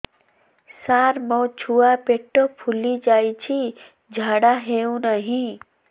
ସାର ମୋ ଛୁଆ ପେଟ ଫୁଲି ଯାଉଛି ଝାଡ଼ା ହେଉନାହିଁ